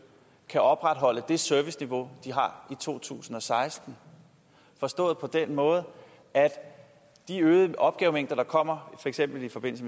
kan opretholde det serviceniveau de har i to tusind og seksten forstået på den måde at de øgede opgavemængder der kommer for eksempel i forbindelse